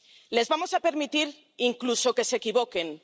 Les vamos a permitir incluso que se equivoquen